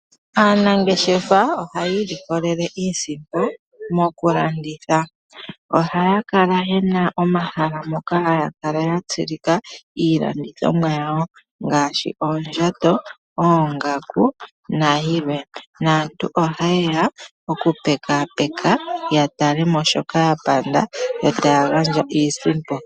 Aanangeshefa ohayi ilikolele iisimpo mokulanditha. Ohaya kala yena omahala moka haya kala yatsilika iilandithomwa yawo ngaashi, oondjato, oongaku nayilwe, naantu ohayeya okupekapeka yatalemo shoka yapanda yo taya gandja iisimpo.